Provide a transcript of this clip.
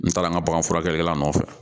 N taara an ka bagan furakɛlikɛla nɔfɛ